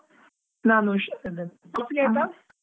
ನಾನು ಹುಷಾರ್ ಇದ್ದೇನೆ, coffee ಆಯ್ತಾ?